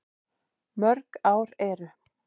Mörg ár eru